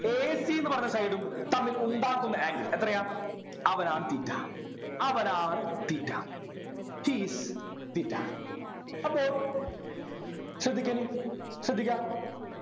A C ന്നു പറഞ്ഞ Side ഉം തമ്മിൽ ഉണ്ടാക്കുന്ന Angle എത്രയാ അവനാണ് theta അവനാണ് theta he is theta അപ്പൊ ശ്രദ്ധിക്കെനി ശ്രദ്ധിക്കാ